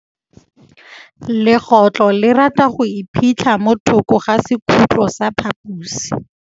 Legôtlô le rata go iphitlha mo thokô ga sekhutlo sa phaposi.